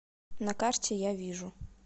на карте я вижу